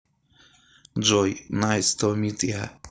джой найс ту мит йа